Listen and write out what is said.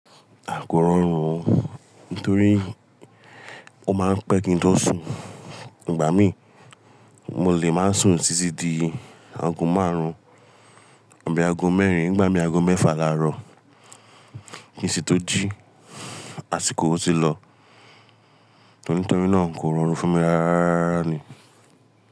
À kò rọrùn o, nítorí ó máa ń pẹ́ kí n tó sùn. Ìgbà mí, mo lè má ṣe sùn títí di aago márùn-ún. Àbí aago mẹ́rin, n gbà mì aago mẹ́fà làárọ̀. N ṣí tó jí àsìkò ó ti lọ. Nítorí náà kò rọrùn fún mi rárá rárá ni.